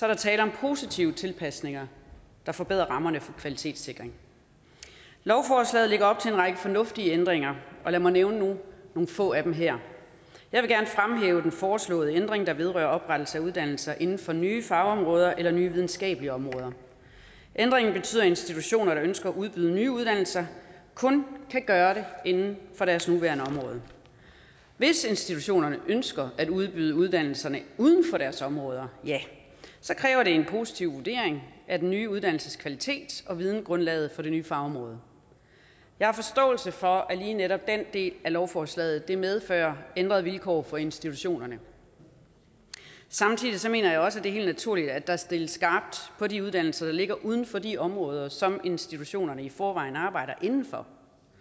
der tale om positive tilpasninger der forbedrer rammerne for kvalitetssikring lovforslaget lægger op til en række fornuftige ændringer og lad mig nævne nogle få af dem her jeg vil gerne fremhæve den foreslåede ændring der vedrører oprettelse af uddannelser inden for nye fagområder eller nye videnskabelige områder ændringen betyder at institutioner der ønsker at udbyde nye uddannelser kun kan gøre det inden for deres nuværende område hvis institutionerne ønsker at udbyde uddannelserne uden for deres områder kræver det en positiv vurdering af den nye uddannelses kvalitet og videngrundlaget for det nye fagområde jeg har forståelse for at lige netop den del af lovforslaget medfører ændrede vilkår for institutionerne samtidig mener jeg også at det er helt naturligt at der stilles skarpt på de uddannelser der ligger uden for de områder som institutionerne i forvejen arbejder inden for